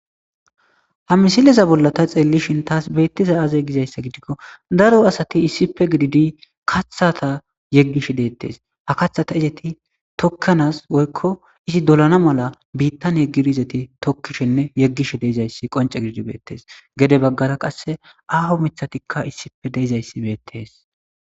Ha misileza bolla ta xeelishin tas betizay azee gizaysa gidiko daro asati issippe gididi kathaza yegishe deetes ha kathaza tokanas woyko izi solana mala bittani yegidi isti tokishenne yegishe dizays wince gididi beetes gede bagara qase ago mithatka issippe dizaysi beetes.